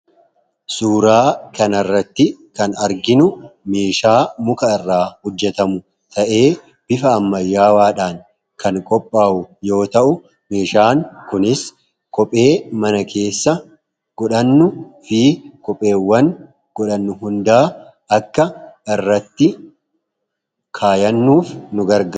Suuraa kana irratti kan arginu meeshaa muka irraa hojjetamu ta'ee; bifa ammayyaawwaadhaan kan qophaa'u yoo ta'u; Meeshaan kunis Kophee mana keessa godhannuufi kopheewwan godhannu hundaa akka irratti kaa'annuuf nugargaara.